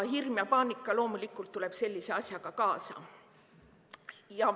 Hirm ja paanika loomulikult tulevad sellise asjaga kaasa.